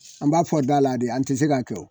An b'a fɔ da la de an ti se ka kɛ